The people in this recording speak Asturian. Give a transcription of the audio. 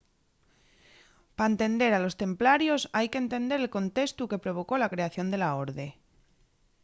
pa entender a los templarios hai qu’entender el contestu que provocó la creación de la orde